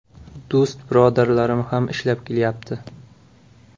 Do‘st-birodarlarim ham ishlab kelyapti.